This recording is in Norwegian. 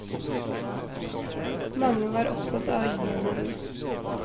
Mange var opptatt av å gi henne ros.